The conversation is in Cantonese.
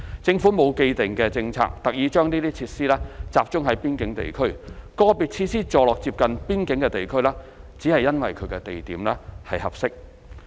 政府並沒有既定政策特意把這些設施集中在邊境地區；個別設施座落接近邊境的地區只是因為地點合適。